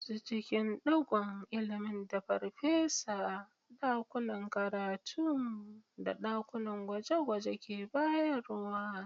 Nutse cikin ɗigon ilimin da farfesa, dakunan karatu, da dakunan gwaje-gwaje ke bayarwa.